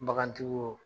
Bagantigiw